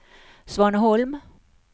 Svaneholm